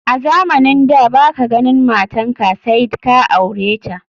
A Zamanin da baka ganin matanka said ka aureta.